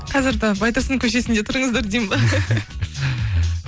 қазір де байтұрсын көшесінде тұрыңыздар дейін бе